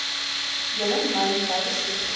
hele mynbou sektor